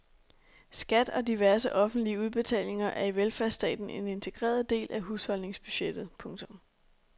Skat og diverse offentlige udbetalinger er i velfærdsstaten en integreret del af husholdningsbudgettet. punktum